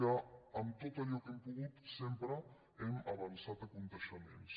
que amb tot allò que hem pogut sempre hem avançat esdeveniments